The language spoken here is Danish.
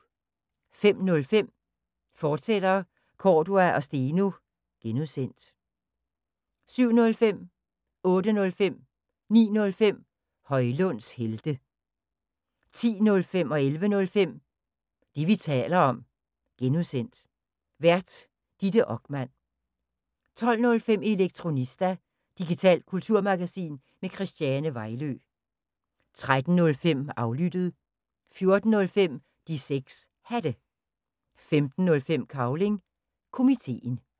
05:05: Cordua & Steno, fortsat (G) 07:05: Højlunds helte 08:05: Højlunds helte 09:05: Højlunds helte 10:05: Det, vi taler om (G) Vært: Ditte Okman 11:05: Det, vi taler om (G) Vært: Ditte Okman 12:05: Elektronista – digitalt kulturmagasin med Christiane Vejlø 13:05: Aflyttet 14:05: De 6 Hatte 15:05: Cavling Komiteen